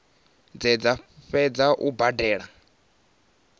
dze dza fhedza u badela